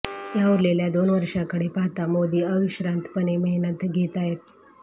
या उरलेल्या दोन वर्षांकडे पाहता मोदी अविश्रांतपणे मेहनत घेताहेत